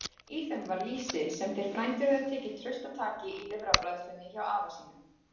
Í þeim var lýsi, sem þeir frændur höfðu tekið traustataki í lifrarbræðslunni hjá afa sínum.